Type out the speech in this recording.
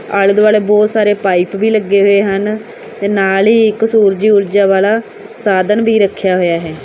ਆਲੇ ਦੁਆਲੇ ਬਹੁਤ ਸਾਰੇ ਪਾਈਪ ਵੀ ਲੱਗੇ ਹੋਏ ਹਨ ਤੇ ਨਾਲ ਹੀ ਇੱਕ ਸੂਰਜੀ ਊਰਜਾ ਵਾਲਾ ਸਾਧਨ ਵੀ ਰੱਖਿਆ ਹੋਇਆ ਹੈ।